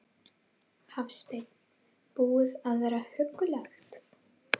Hafsteinn: Búið að vera huggulegt?